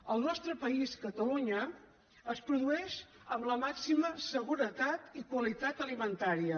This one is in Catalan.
al nostre país catalunya es produeix amb la màxima seguretat i qualitat alimentàries